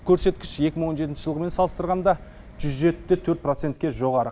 көрсеткіш екі мың он жетінші жылғымен салыстырғанда жүз жеті де төрт процентке жоғары